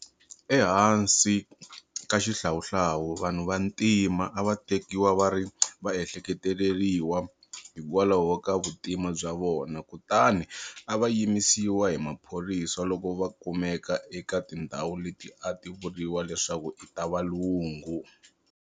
Ehansi ka xihlawuhlawu, vanhu vantima a va tekiwa va ri va ehleketeleriwa hikwalaho ka vuntima bya vona kutani a va yimisiwa hi maphorisa loko va kumeka eka tindhawu leti a ti vuriwa leswaku i ta valungu.